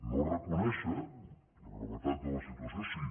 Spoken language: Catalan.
no reconèixer la gravetat de la situació sí